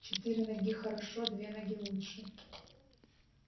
четыре ноги хорошо а две ноги лучше